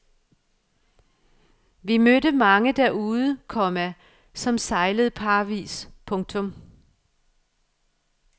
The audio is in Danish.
Vi mødte mange derude, komma som sejlede parvis. punktum